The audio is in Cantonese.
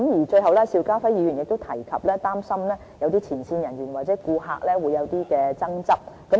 最後邵家輝議員亦提及，擔心前線人員和顧客會有爭執。